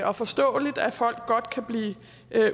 og forståeligt at folk godt kan blive